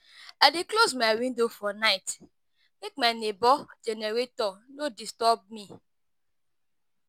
I dey close my window for night make my nebor generator no disturb me.